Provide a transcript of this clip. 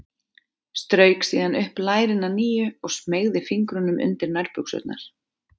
Strauk síðan upp lærin að nýju og smeygði fingrunum undir nærbuxurnar.